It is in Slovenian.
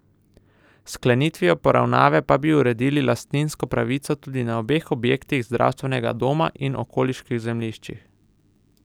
S sklenitvijo poravnave pa bi uredili lastninsko pravico tudi na obeh objektih zdravstvenega doma in okoliških zemljiščih.